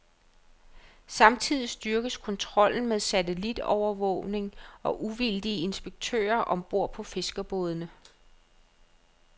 Samtidig styrkes kontrollen med satellitovervågning og uvildige inspektører om bord på fiskerbådene.